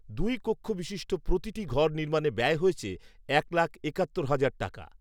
দুই কক্ষ বিশিষ্ট প্রতিটি ঘর নির্মাণে ব্যয় হয়েছে এক লাখ একাত্তর হাজার টাকা